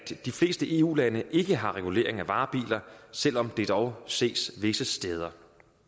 de fleste eu lande ikke har regulering af varebiler selv om det dog ses visse steder